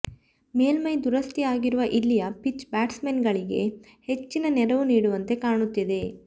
ಮೇಲ್ಮೈ ದುರಸ್ತಿಯಾಗಿರುವ ಇಲ್ಲಿಯ ಪಿಚ್ ಬ್ಯಾಟ್ಸ್ಮನ್ಗಳಿಗೆ ಹೆಚ್ಚಿನ ನೆರವು ನೀಡುವಂತೆ ಕಾಣುತ್ತಿದೆ